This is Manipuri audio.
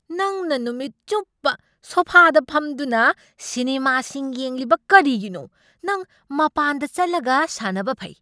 ꯅꯪꯅ ꯅꯨꯃꯤꯠ ꯆꯨꯞꯄ ꯁꯣꯐꯥꯗ ꯐꯝꯗꯨꯅ ꯁꯤꯅꯦꯃꯥꯁꯤꯡ ꯌꯦꯡꯂꯤꯕ ꯀꯔꯤꯒꯤꯅꯣ? ꯅꯪ ꯃꯄꯥꯟꯗ ꯆꯠꯂꯒ ꯁꯥꯟꯅꯕ ꯐꯩ!